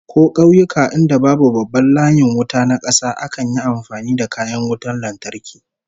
Ko kauyuka inda babu babban layin wuta na kasa, akan yi amfani da kayan wutan lantarki